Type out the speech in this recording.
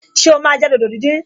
Ṣé o máa jẹ dòdò díndín?